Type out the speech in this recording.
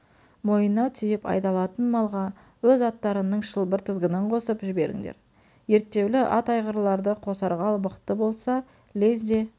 мойнына түйіп айдалатын малға өз аттарыңның шылбыр-тізгінін қосып жіберіңдер ерттеулі ат айғырларды қосарғаал мықты болса лезде